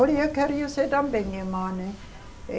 Olhe, eu queria ser também irmã, né?